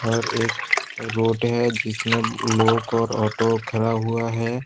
और एक रोड है जिसमें लोग और ऑटो ख़रा हुआ है।